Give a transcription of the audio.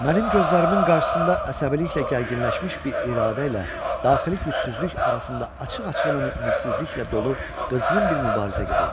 Mənim gözlərimin qarşısında əsəbiliklə gərginləşmiş bir iradə ilə daxili gücsüzlük arasında açıq-açığına ümidsizliklə dolu qızğın bir mübarizə gedirdi.